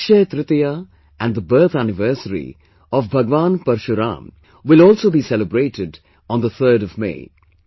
Akshaya Tritiya and the birth anniversary of Bhagwan Parashuram will also be celebrated on 3rd May